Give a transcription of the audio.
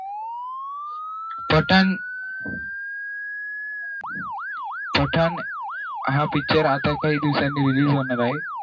पठाण पठण हा picture आता काही दिवसानी release होणार आहे